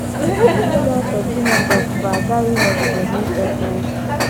Ndị na - efe Chineke ofufe aghaghị ịnọgide na - ekpe ekpere.